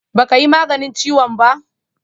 Ba ka yi maganin ciwon ba?